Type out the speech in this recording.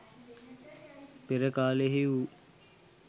පෙර කාලයෙහි වූ